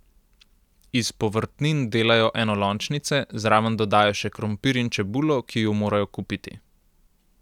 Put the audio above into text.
Iz povrtnin delajo enolončnice, zraven dodajo še krompir in čebulo, ki ju morajo kupiti.